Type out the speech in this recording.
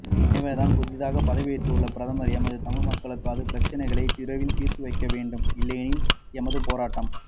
எனவே புதிதாக பதவியேற்றுள்ள பிரதமர் எமது தமிழ்மக்களது பிரச்சனைகளை விரைவில் தீர்த்து வைக்கவேண்டும் இல்லையெனில் எமது போராட்டம்